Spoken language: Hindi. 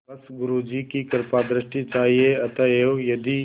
बस गुरु जी की कृपादृष्टि चाहिए अतएव यदि